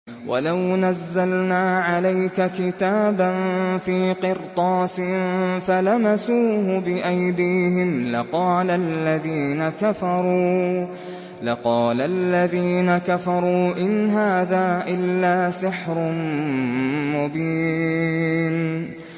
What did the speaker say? وَلَوْ نَزَّلْنَا عَلَيْكَ كِتَابًا فِي قِرْطَاسٍ فَلَمَسُوهُ بِأَيْدِيهِمْ لَقَالَ الَّذِينَ كَفَرُوا إِنْ هَٰذَا إِلَّا سِحْرٌ مُّبِينٌ